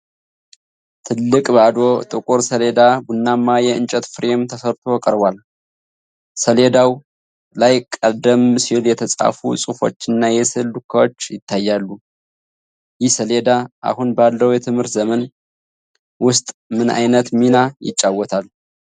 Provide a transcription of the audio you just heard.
ትልቅ፣ ባዶ ጥቁር ሰሌዳ ቡናማ የእንጨት ፍሬም ተሰርቶ ቀርቧል። ሰሌዳው ላይ ቀደም ሲል የተጻፉ ጽሑፎችና የስዕል ዱካዎች ይታያሉ። ይህ ሰሌዳ አሁን ባለው የትምህርት ዘመን ውስጥ ምን ዓይነት ሚና ይጫወታል?